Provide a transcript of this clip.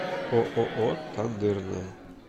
ооо тандырная